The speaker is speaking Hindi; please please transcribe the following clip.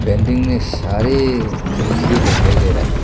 पेंटिंग में सारे खिड़की दिखाई दे रहा है।